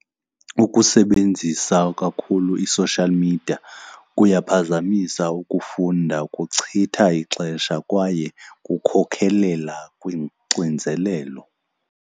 Ukusebenzisa kakhulu i-social media kuyaphazamisa ukufunda, kuchitha ixesha kwaye kukhokhelela kwixinzelelo.